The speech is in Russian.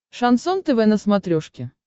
шансон тв на смотрешке